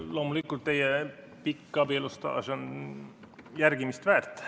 Loomulikult, teie pikk abielu on järgimist väärt.